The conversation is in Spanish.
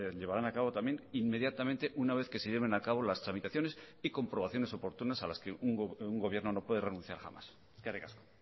llevarán a cabo también inmediatamente una vez que se lleven a cabo las tramitaciones y comprobaciones oportunas a las que un gobierno no puede renunciar jamás eskerrik asko